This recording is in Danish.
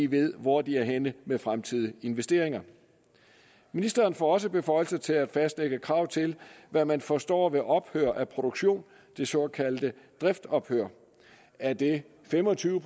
ved hvor de er henne i med fremtidige investeringer ministeren får også beføjelser til at fastlægge krav til hvad man forstår ved ophør af produktion det såkaldte driftsophør er det fem og tyve